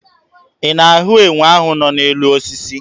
Ị na-ahụ enwe ahụ nọ n'elu osisi?